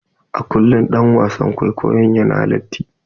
A kullum ɗan wasan kwaikwayon yana latti.